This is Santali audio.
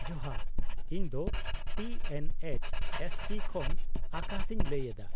-ᱡᱚᱦᱟᱨ, ᱤᱧ ᱫᱚ T N H S P ᱠᱷᱚᱱ ᱟᱠᱟᱥ ᱤᱧ ᱞᱟᱹᱭ ᱮᱫᱟ ᱾